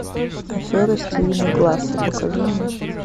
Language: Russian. афера стивена гласса покажи мне